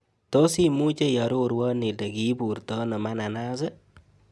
Tos' imuche iarorwon ile kiiburtono mananas ii